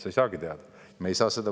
Sa ei saagi teada.